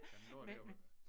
Jamen nu er det jo